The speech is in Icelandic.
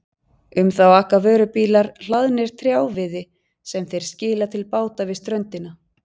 Um þá aka vörubílar hlaðnir trjáviði sem þeir skila til báta við ströndina.